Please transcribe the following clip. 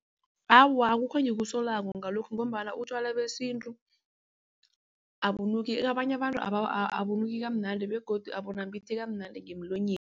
Awa, akukho engikusolako ngalokhu ngombana utjwala besintu abunuki abanye abantu abunuki kamnandi begodu abunambitheki kamnandi ngemlonyeni.